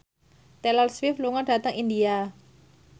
Taylor Swift lunga dhateng India